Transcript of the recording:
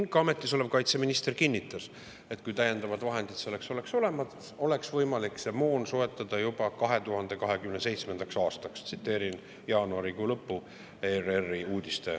Ka ametis olev kaitseminister kinnitas, et kui täiendavad vahendid selleks oleks olemas, oleks võimalik see moon soetada juba 2027. aastaks – viitan ERR‑i uudisteportaali jaanuarikuu lõpust.